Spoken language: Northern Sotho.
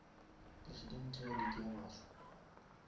presidente ya league ya baswa